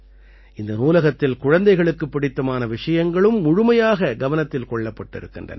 இந்த நூலகத்தில் குழந்தைகளுக்குப் பிடித்தமான விஷயங்களும் முழுமையாக கவனத்தில் கொள்ளப்பட்டிருக்கின்றன